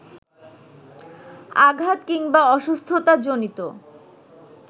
আঘাত কিংবা অসুস্থতাজনিত